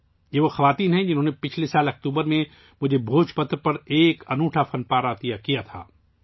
یہ وہی خواتین ہیں ، جنہوں نے مجھے گزشتہ سال اکتوبر میں بھوج پتر پر ایک انوکھا آرٹ ورک پیش کیا تھا